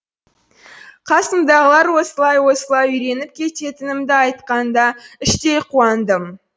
қасымдағылар осылай осылай үйреніп кететінімді айтқанда іштей қуандым